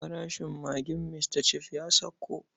Farashin magin Mr Chef ya sauko.